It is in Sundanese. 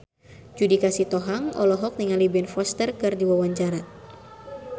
Judika Sitohang olohok ningali Ben Foster keur diwawancara